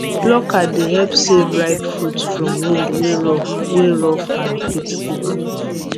plucker dey help save ripe fruit from wound wey rough wey rough hand fit give am